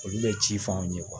Olu bɛ ci f'anw ye